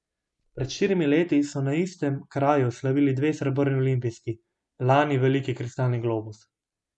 Pred štirimi leti so na istem kraju slavili dve srebrni olimpijski, lani veliki kristalni globus.